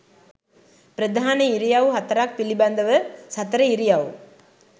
ප්‍රධාන ඉරියව් හතරක් පිළිබඳව සතර ඉරියව්